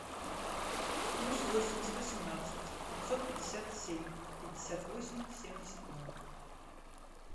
плюс восемь сто семнадцать пятьсот пятьдесят семь пятьдесят восемь семьдесят ноль